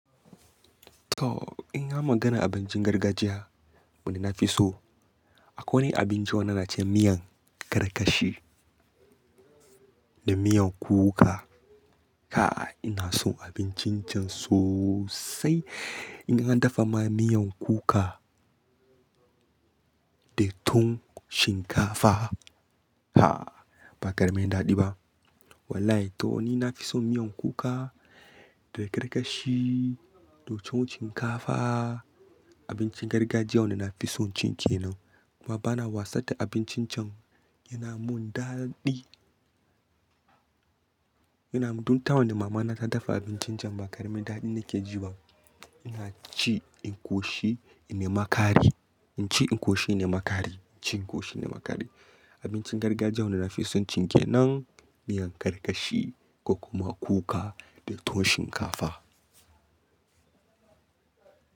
To in ya magana abincin gargajiya, wanda na fi so akwai abinci wanda na ce miyan karkashi da miyan kuka. Ka ina so abincin can sosai. In an dafa ma miyan kuka da towon shinkafa, ha ba ƙaramin daɗi ba. Wallahi to ni na fi son miyan kuka da karkashi da ton shinkafa. Abincin gargajiya wanda na fi son cin ke nan kuma bana wasa da abincin can yana mun daɗi. Yana mun, duk ta wanda mama na ta dafa abincin can ba ƙaramin daɗi nake ji ba. Ina ci in koshi inema kare, inci in koshi inema kare, inci in koshi inema kare. Abincin gargajiya wanda na fi son cin ke nan miyan karkashi ko kuma kuka da towon shinkafa.